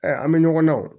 an bɛ ɲɔgɔn na o